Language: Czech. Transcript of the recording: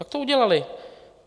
Tak to udělali.